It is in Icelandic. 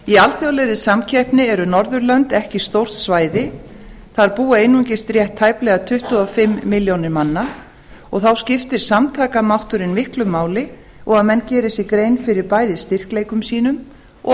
í alþjóðlegri samkeppni eru norðurlönd ekki stórt svæði þar búa einungis rétt tæplega tuttugu og fimm milljónir manna og þá skiptir samtakamátturinn miklu máli og að menn geri sér grein fyrir bæði styrkleikum sínum og